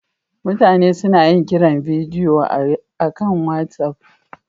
Mutane suna yin kiran bidiyo akan WhatsApp